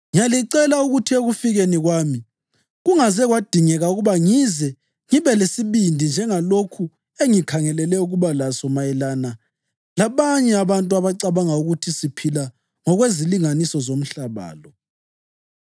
Ngiyalicela ukuthi ekufikeni kwami kungaze kwadingeka ukuba ngize ngibe lesibindi njengalokhu engikhangelele ukuba laso mayelana labanye abantu abacabanga ukuthi siphila ngokwezilinganiso zomhlaba lo.